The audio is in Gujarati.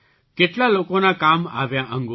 કેટલા લોકોના કામ આવ્યાં અંગો